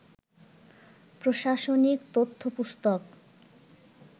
প্রশাসনিক তথ্যপুস্তক